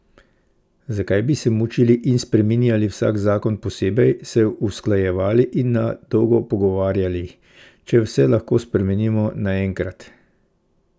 Zakaj bi se mučili in spreminjali vsak zakon posebej, se usklajevali in na dolgo pogovarjali, če vse lahko spremenimo naenkrat?